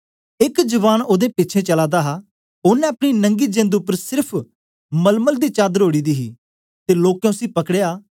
एक जवान ओदे पिछें चला दा हा ओनें अपने नंगी जिंद उपर सेर्फ मलमल दी चादर ओढ़ी दी ही ते लोकें उसी पकड़या